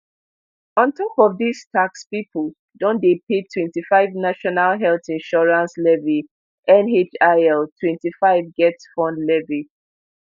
on top of dis tax pipo don dey pay twenty-five national health insurance levy nhil twenty-five getfund levy